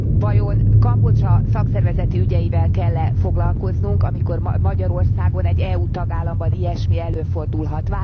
Vajon Kambodzsa szakszervezeti ügyeivel kell e foglalkoznunk, amikor ma Magyarországon, egy EU tagállamban ilyesmi előfordulhat?